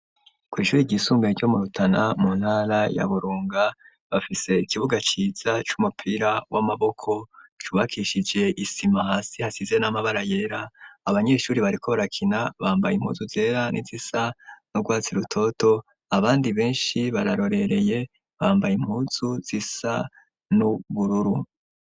Kw'ishuri ryisumbuye ryo mu Rutana mu ntara ya Burunga bafise ikibuga ciza c'umupira w'amaboko cubakishije isima hasi hashize n'amabara yera abanyeshuri bariko barakina bambaye impuzu zera n'izisa n'urwatsi rutoto abandi beshi bararorereye bambaye impunzu zisa n'ubururu.